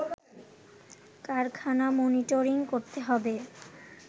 কারখানা মনিটরিং করতে হবে